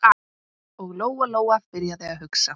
Og Lóa-Lóa byrjaði að hugsa.